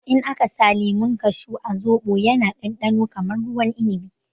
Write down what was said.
In aka sa lemun kashu a zobo ya na ɗanɗano kamar ruwan inibi